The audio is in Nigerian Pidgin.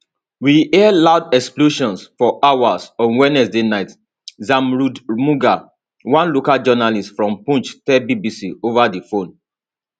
we hear loud explosions for hours on wednesday night zamrood mughal one local journalist from poonch tell bbc ova di phone